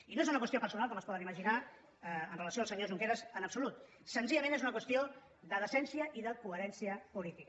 i no és una qüestió personal com es poden imaginar amb relació al senyor junqueras en absolut senzillament és una qüestió de decència i de coherència política